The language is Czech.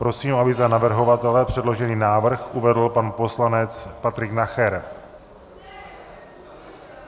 Prosím, aby za navrhovatele předložený návrh uvedl pan poslanec Patrik Nacher.